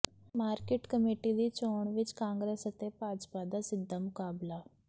market committee ਦੀ ਚੋਣ ਵਿੱਚ ਕਾਂਗਰਸ ਅਤੇ ਭਾਜਪਾ ਦਾ ਸਿੱਧਾ ਮੁਕਾਬਲਾ